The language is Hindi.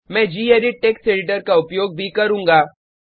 मैं गेडिट टेक्स्ट एडिटर का उपयोग भी करुँगा